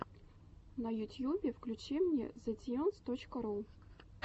на ютьюбе включи мне зэтьюнс точка ру